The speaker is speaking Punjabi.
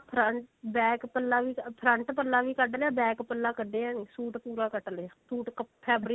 front back ਪੱਲਾ ਵੀ front ਪੱਲਾ ਵੀ ਕੱਢ ਲਿਆ back ਪੱਲਾ ਕੱਢਆ ਨਹੀ ਸੂਟ ਪੂਰਾ ਕੱਟ ਲਿਆ ਸੂਟ fabric